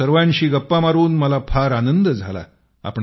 आपणा सर्वांशी गप्पा मारून मला फार आनंद झाला